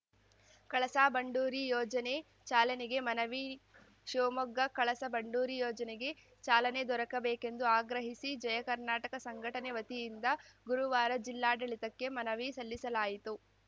ಕಳಸಾ ಬಂಡೂರಿ ಯೋಜನೆ ಚಾಲನೆಗೆ ಮನವಿ ಶಿವಮೊಗ್ಗ ಕಳಸ ಬಂಡೂರಿ ಯೋಜನೆಗೆ ಚಾಲನೆ ದೊರಕಬೇಕೆಂದು ಆಗ್ರಹಿಸಿ ಜಯಕರ್ನಾಟಕ ಸಂಘಟನೆ ವತಿಯಿಂದ ಗುರುವಾರ ಜಿಲ್ಲಾಡಳಿತಕ್ಕೆ ಮನವಿ ಸಲ್ಲಿಸಲಾಯಿತು